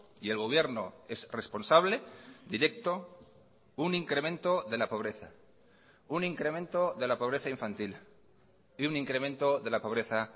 y el gobierno es responsable directo un incremento de la pobreza un incremento de la pobreza infantil y un incremento de la pobreza